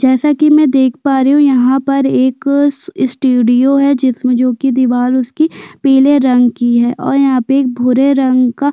जैसा की मै देख पा रही हु यहाँ पर एक स्टेडिओ है जिसमे जो की दिवाल उसकी पीले रंग की है और यहाँ पर एक भूरे रंग का--